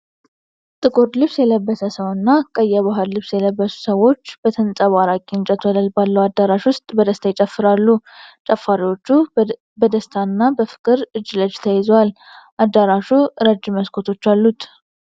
ጥቁር ልብስ የለበሰ ሰው እና ቀይ የባህል ልብስ የለበሱ ሰዎች በተንጸባራቂ እንጨት ወለል ባለው አዳራሽ ውስጥ በደስታ ይጨፍራሉ። ጨፋሪዎቹ በደስታና በፍቅር እጅ ለእጅ ተያይዘዋል። አዳራሹ ረጅም መስኮቶች አሉት።